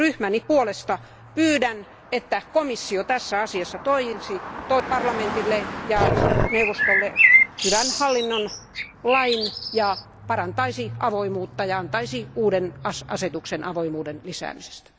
Ryhmäni puolesta pyydän, että komissio tässä asiassa toisi parlamentille ja neuvostolle hyvän hallinnon lain ja parantaisi avoimuutta ja antaisi uuden asetuksen avoimuuden lisäämisestä.